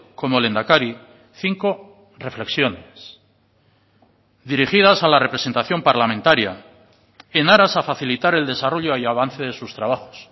como lehendakari cinco reflexiones dirigidas a la representación parlamentaria en aras a facilitar el desarrollo y avance de sus trabajos